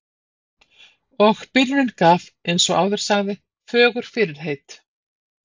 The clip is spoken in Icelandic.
Og byrjunin gaf, eins og áður sagði, fögur fyrirheit.